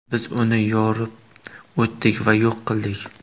Biz uni yorib o‘tdik va yo‘q qildik.